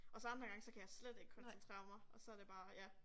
Og så andre gange så kan jeg slet ikke koncentrere mig og så det bare ja